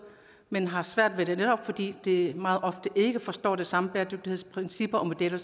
men har svært ved det netop fordi de meget ofte ikke forstår de samme bæredygtighedsprincipper og modeller